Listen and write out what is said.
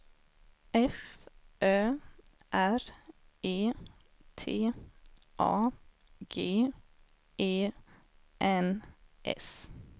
F Ö R E T A G E N S